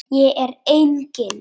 Ég er engin.